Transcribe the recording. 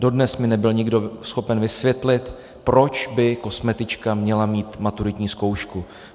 Dodnes mi nebyl nikdo schopen vysvětlit, proč by kosmetička měla mít maturitní zkoušku.